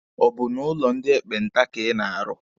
Ọ bụ n'ụlọ ndị ekpenta ka ị na-arụ?